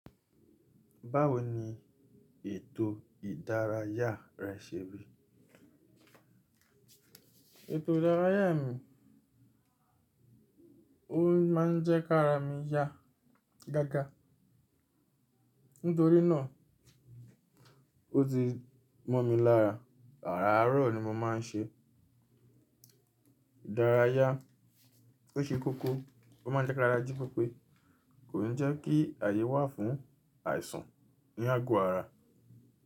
Báwo ni ètò ìdárayá rẹ ṣe rí? Ètò ìdárayá mi, ó máa ń jẹ́ ká ra mi yá gága. Nítorí náà, ó ti mọ̀ mi lára. Àràárọ̀ ni mo máa ń ṣe ìdárayá. Ó ṣe kókó, ó máa ń jẹ́ ká ra jí pepe. Kò ní jẹ́ kí àyè wà fún àìsàn ní àgọ ara.